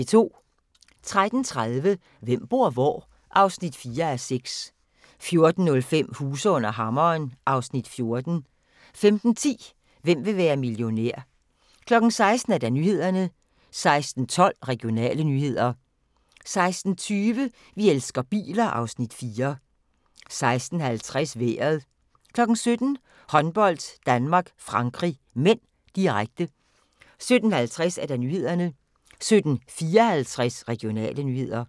13:30: Hvem bor hvor? (4:6) 14:05: Huse under hammeren (Afs. 14) 15:10: Hvem vil være millionær? 16:00: Nyhederne 16:12: Regionale nyheder 16:20: Vi elsker biler (Afs. 4) 16:50: Vejret 17:00: Håndbold: Danmark-Frankrig (m), direkte 17:50: Nyhederne 17:54: Regionale nyheder